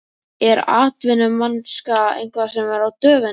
Er atvinnumennska eitthvað sem er á döfinni?